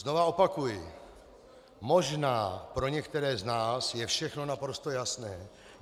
Znova opakuji: Možná pro některé z nás je všechno naprosto jasné.